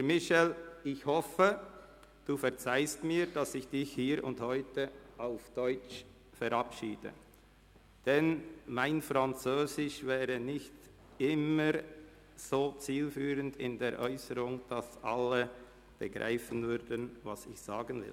Lieber Michel Walthert, ich hoffe Sie verzeihen mir, dass ich Sie hier und heute auf Deutsch verabschiede, denn meine französischen Äusserungen sind nicht immer so zielführend, sodass alle begreifen würden, was ich sagen will.